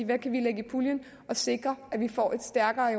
hvad kan vi lægge i puljen og sikre at vi får et stærkere